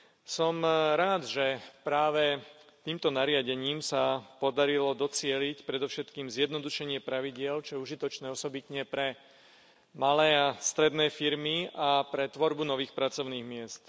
Som rád, že práve týmto nariadením sa podarilo docieliť predovšetkým zjednodušenie pravidiel, čo je užitočné osobitne pre malé a stredné firmy a pre tvorbu nových pracovných miest.